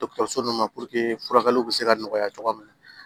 Dɔkɔtɔrɔso nunnu na furakɛliw bi se ka nɔgɔya cogoya min na